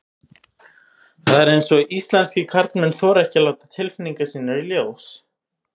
Það er eins og íslenskir karlmenn þori ekki að láta tilfinningar sínar í ljós.